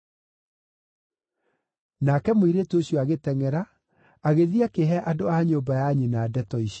Nake mũirĩtu ũcio agĩtengʼera, agĩthiĩ akĩhe andũ a nyũmba ya nyina ndeto icio.